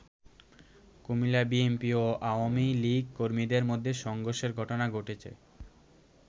কুমিল্লায় বিএনপি ও আওয়ামী লীগ কর্মীদের মধ্যে সংঘর্ষের ঘটনা ঘটেছে।